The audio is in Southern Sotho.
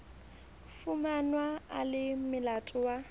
fumanwa a le molato wa